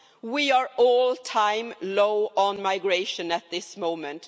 We are all time low on migration at this moment.